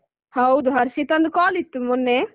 ಹೌದು ಹರ್ಷಿತಂದು call ಇತ್ತು ಮೊನ್ನೆ.